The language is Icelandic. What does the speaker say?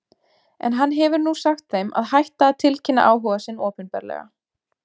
En hann hefur nú sagt þeim að hætta að tilkynna áhuga sinn opinberlega.